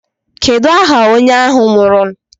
Kedu aha onye ahụ nwụrụ?